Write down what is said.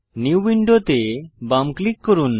new window তে বাম click করুন